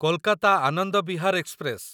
Kolkata Anand Vihar express